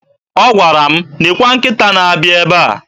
Ọ gwara m, "nekwe nkịta na-abịa ebe a".